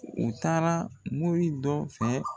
U taara mori dɔ fɛ.